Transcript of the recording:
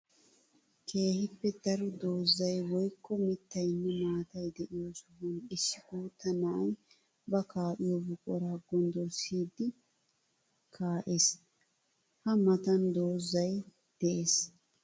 Keehippe daro doozay woykko mittayinne maatay de'iyo sohuwan issi guuta na'ay ba kaa'iyo buqura gonddorssiddi kaa'ess. Ha matan doozzay de'ees.